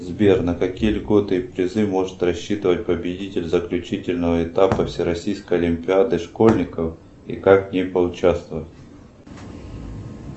сбер на какие льготы и призы может рассчитывать победитель заключительного этапа всероссийской олимпиады школьников и как в ней поучаствовать